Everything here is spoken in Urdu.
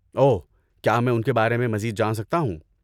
اوہ، کیا میں ان کے بارے میں مزید جان سکتا ہوں؟